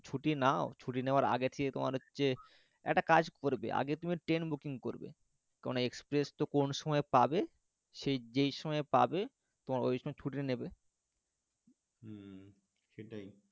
ছুটি নাও ছুটি নেওয়ার আগে থেকে তোমার হচ্ছে একটা কাজ করবে আগে তুমি train booking করবে কারন না express তো কোনও সময় পাবে সেই যেই সময় পাবে তোমার ওই সময় ছুটি নেবে হুম সেটাই,